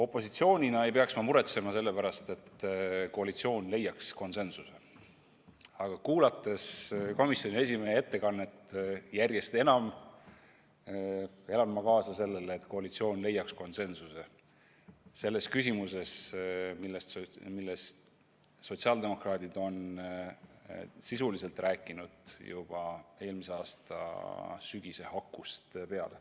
Opositsiooni esindajana ei peaks ma muretsema selle pärast, et koalitsioon leiaks konsensuse, aga kuulates komisjoni esimehe ettekannet, elan ma järjest enam kaasa sellele, et koalitsioon leiaks konsensuse küsimuses, millest sotsiaaldemokraadid on sisuliselt rääkinud juba eelmise aasta sügise hakust peale.